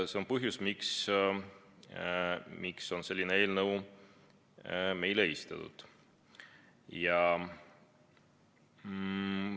See on põhjus, miks on selline eelnõu meile esitatud.